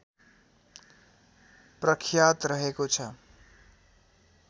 प्रख्यात रहेको छ